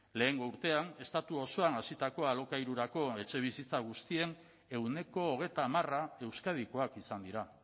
lehengo urtean estatu osoan hasitako alokairurako etxebizitza guztien ehuneko hogeita hamara euskadikoak izan dira